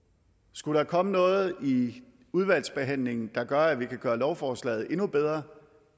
skulle der komme noget i udvalgsbehandlingen der gør at vi kan gøre lovforslaget endnu bedre